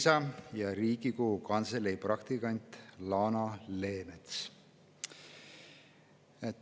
Riigikogu Kantselei praktikant Lana Leemets.